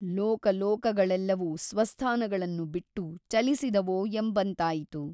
ಲೋಕಲೋಕಗಳೆಲ್ಲವೂ ಸ್ವಸ್ಥಾನಗಳನ್ನು ಬಿಟ್ಟು ಚಲಿಸಿದವೋ ಎಂಬಂತಾಯಿತು.